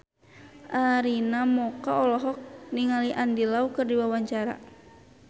Arina Mocca olohok ningali Andy Lau keur diwawancara